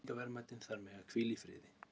Menningarverðmætin þar mega hvíla í friði.